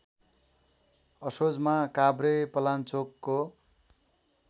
असोजमा काभ्रेपलाञ्चोकको